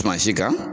Suma si kan